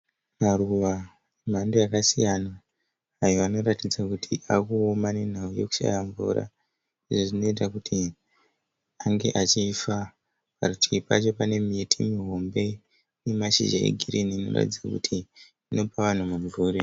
Maruva emhando yakasiyana ayo anoratidza kuti avakuoma nenhau yakushaya mvura izvo zvinoita kuti ange achifa. Parutivi pacho pane miti mihombe ine mashizha egirini inoratidza kuti inopa vanhu mumvuri.